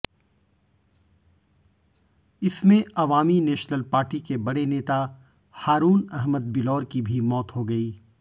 इसमें Awami National Party के बड़े नेता हारुन अहमद बिलौर की भी मौत हो गई